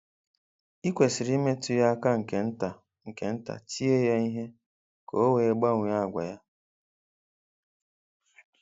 I kwesịrị imetụ ya aka nke nta nke nta, tie ya ihe ka o wee gbanwee àgwà ya.